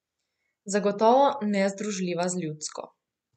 Zagotovo nezdružljiva z ljudsko.